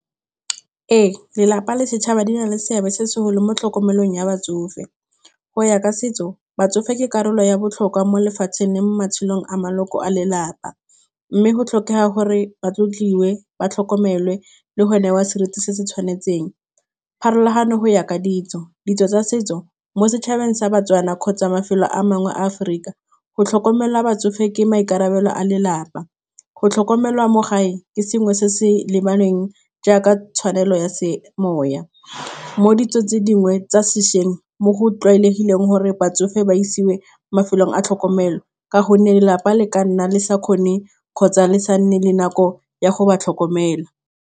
Ee lelapa le setšhaba di na le seabe se segolo mo tlhokomelong ya batsofe go ya ka setso batsofe ke karolo ya botlhokwa mo lefatsheng le mo matshelong a maloko a lelapa, mme go tlhokega gore ba tlotliwa fa ba tlhokomele le go ne wa seriti se se tshwanetseng, pharologano go ya ka ditso ditso tsa setso mo setšhabeng sa baTswana kgotsa mafelo a mangwe Aforika go tlhokomela batsofe ke maikarabelo a lelapa go tlhokomelwa mo gae ke sengwe se se lebaneng jaaka tshwanelo ya semoya, mo ditsong tse dingwe tsa sešweng mo go tlwaelegileng gore batsofe ba isiwe mafelong a tlhokomelo ka gonne lelapa le ka nna le sa kgone kgotsa le sa nne le nako ya go ba tlhokomela.